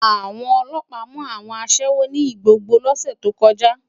Awòn òlòpá mú áwòn aṣèwó ni Igbogbo lòsè tókòjá